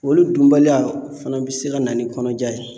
Olu dunbaliya, o fana bɛ se ka na ni kɔnɔja ye.